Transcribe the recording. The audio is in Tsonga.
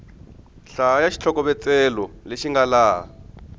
hlaya xitlhokovetselo lexi nga laha